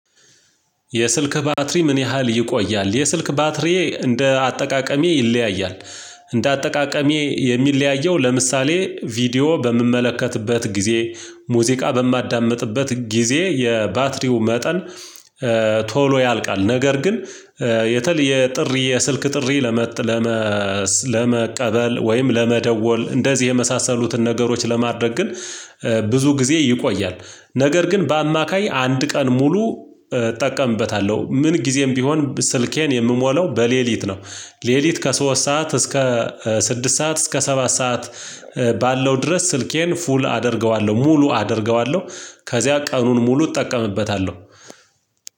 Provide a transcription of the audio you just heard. የስልክህ ባትሪ ምን ያህል ይቆያል? የስልክ ባትሪዬ እንደ አጠቃቀሜ ይለያያል። እንደ አጠቃቀሜ የሚለያየው ለምሳሌ ቪዲዮ በምመለከትበት ጊዜ ሙዚቃ በማዳምጥበት ጊዜ የባትሪው መጠን ቶሎ ያልቃል። ነገር ግን የተለየ የጥሪ የስልክ ጥሪ ለመጥ ለመቀበል ወይም ለመደወል እንደዚህ የመሳሰሉትን ነገሮች ለማድረግ ግን ብዙ ጊዜ ይቆያል። ነገር ግን በአማካይ አንድ ቀን ሙሉ እጠቀምበታለሁ ምን ጊዜም ቢሆን ስልኬን የምሞላው በሌሊት ነው። ሌሊት ከሶስት ሰዓት እስከ ስድስት ሰዓት እስከ ሰባት ሰዓት ባለው ድረስ ስልኬን ፉል አደርገዋለሁ ሙሉ አደርገዋለሁ። ከዚያ ቀኑን ሙሉ እጠቀምበታለሁ።